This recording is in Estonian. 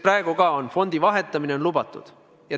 Praegu ka on fondi vahetamine lubatud.